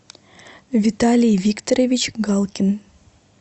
виталий викторович галкин